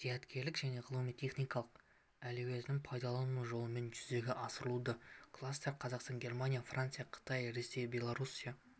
зияткерлік және ғылыми-техникалық әлеуетін пайдалану жолымен жүзеге асырылуда кластер қазақстан германия франция қытай ресей белоруссия